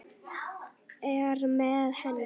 Er með henni.